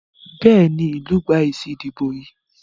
Béèni ilú gbà èsì ìdìbò yí.